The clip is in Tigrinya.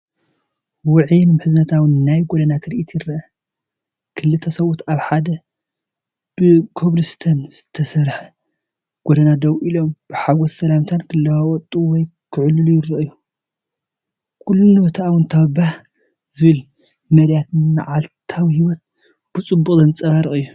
ውዑይን ምሕዝነታዊን ናይ ጎደና ትርኢት ይርአ። ክልተ ሰብኡት ኣብ ሓደ ብኮብልስቶን ዝተሰርሐ ጎደና ደው ኢሎም ብሓጎስ ሰላምታ ክለዋወጡ ወይ ክዕልሉ ይረኣዩ። ኩሉ ነቲ ኣወንታዊን ባህ ዘብልን መዳያት መዓልታዊ ህይወት ብጽቡቕ ዘንጸባርቕ እዩ፡፡